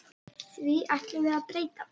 Því ætlum við að breyta.